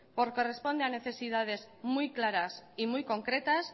porque responde a necesidades muy claras y muy concretas